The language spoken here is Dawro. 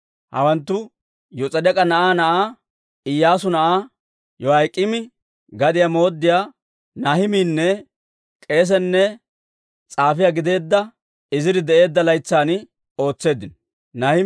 Hawanttu Yos'edeek'a na'aa na'aa, Iyyaasu na'aa Yoyaak'iimi, gadiyaa mooddiyaa Nahimiinne k'eesenne s'aafiyaa gideedda Iziri de'eedda laytsan ootseeddino.